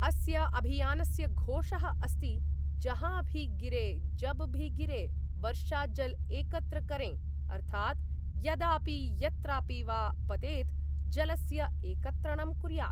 अस्य अभियानस्य घोषः अस्ति जहां भी गिरे, जब भी गिरे, वर्षा जल एकत्र करें अर्थात् यदापि यत्रापि वा पतेत् जलस्य एकत्रणं कुर्यात्।